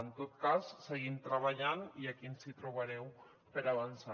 en tot cas seguim treballant i aquí ens hi trobareu per avançar